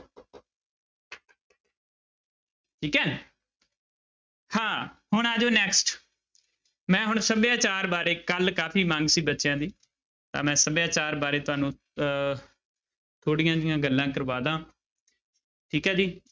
ਠੀਕ ਹੈ ਹਾਂ ਹੁਣ ਆ ਜਾਓ next ਮੈਂ ਹੁਣ ਸਭਿਆਚਾਰ ਬਾਰੇ ਕੱਲ੍ਹ ਕਾਫ਼ੀ ਮੰਗ ਸੀ ਬੱਚਿਆਂ ਦੀ ਤਾਂ ਮੈਂ ਸਭਿਆਚਾਰ ਬਾਰੇ ਤੁਹਾਨੂੰ ਅਹ ਥੋੜ੍ਹੀਆਂ ਜਿਹੀਆਂ ਗੱਲਾਂ ਕਰਵਾ ਦਾ ਠੀਕ ਹੈ ਜੀ।